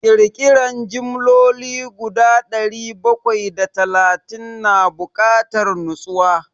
Ƙirƙiran jimloli guda dari bakwai da talatin na bukatar nutsuwa.